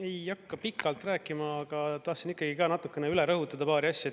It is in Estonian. Ei hakka pikalt rääkima, aga tahtsin ikkagi ka natukene üle rõhutada paari asja.